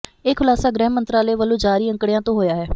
ਇਹ ਖੁਲਾਸਾ ਗ੍ਰਹਿ ਮੰਤਰਾਲੇ ਵੱਲੋਂ ਜਾਰੀ ਅੰਕੜਿਆਂ ਤੋਂ ਹੋਇਆ ਹੈ